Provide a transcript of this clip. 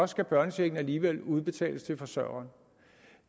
skal børnechecken alligevel udbetales til forsørgeren